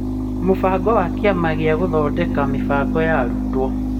Mũbango wa kĩama kĩa gũthondeka mĩbango ya arutwo